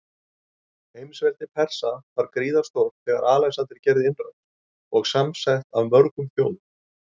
Heimsveldi Persa var gríðarstórt þegar Alexander gerði innrás, og samsett af mörgum þjóðum.